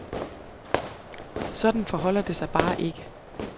Sådan forholder det sig bare ikke.